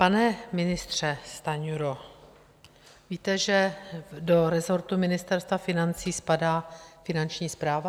Pane ministře Stanjuro, víte, že do resortu Ministerstva financí spadá Finanční správa?